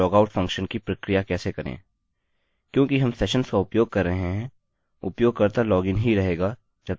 क्योंकि हम सेशन्स का उपयोग कर रहे हैं उपयोगकर्ता यूजर लॉगइन ही रहेगा जब तक कि वे लॉगआउट बटन प्रेस नहीं करते